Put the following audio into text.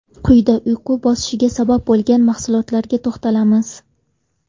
Quyida uyqu bosishiga sabab bo‘ladigan mahsulotlarga to‘xtalamiz.